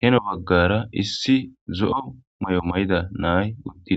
heno baggara issi zo7o may7o may7ida naay uttid.